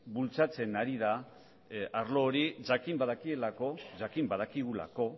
bultzatzen ari da arlo hori jakin badakigulako